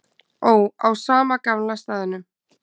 Ó, á sama gamla staðnum.